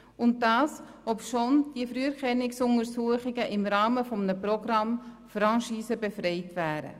Und das, obschon die Früherkennungsuntersuchungen im Rahmen eines Programms Franchise-befreit wären.